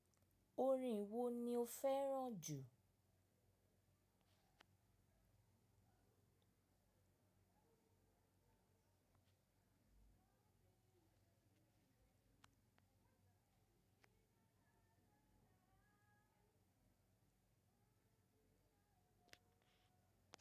Orin wo ni o fẹ́ràn jù?